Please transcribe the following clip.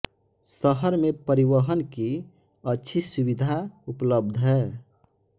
शहर में परिवहन की अच्छी सुविधा उपलब्ध है